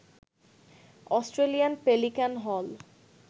Australian pelican হল